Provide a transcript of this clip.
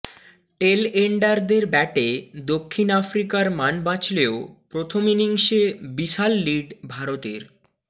টেলএন্ডারদের ব্যাটে দক্ষিণ আফ্রিকার মান বাঁচলেও প্রথম ইনিংসে বিশাল লিড ভারতের